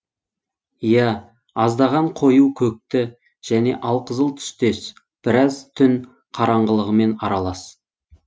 ия аздаған қою көкті және алқызыл түстес біраз түн қараңғылығымен аралас